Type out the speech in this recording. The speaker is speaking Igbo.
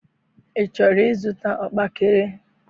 I chọrọ ịzụta ọkpaekere?